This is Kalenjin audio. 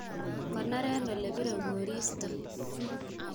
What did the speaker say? Konoren olebire koristo.